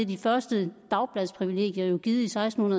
de første dagbladsprivilegier jo givet i seksten